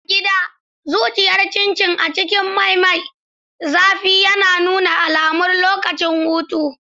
A gida, zuriyar Chin chin a cikin mai mai zafi ya nuna alamar lokacin hutu.